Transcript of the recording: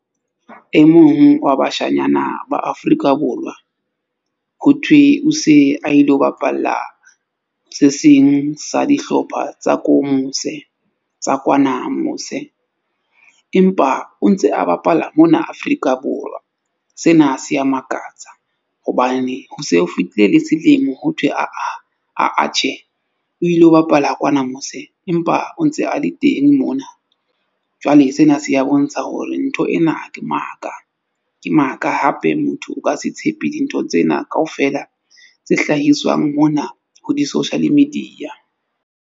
E mong wa bashanyana ba Afrika Borwa ho thwe o se a ilo bapalla se seng sa dihlopha tsa ko mose tsa kwana mose. Empa o ntse a bapala mona Afrika Borwa. Sena se ya makatsa hobane ho se ho fitile le selemo ho thwe, aa, aa tjhe o ilo bapala kwana mose empa o ntse a le teng mona. Jwale sena se ya bontsha hore ntho ena ke maka. Ke maka hape motho o ka se tshepe dintho tsena kaofela tse hlahiswang mona ho di-social media.